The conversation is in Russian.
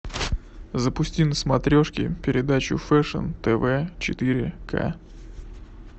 запусти на смотрешке передачу фэшн тв четыре к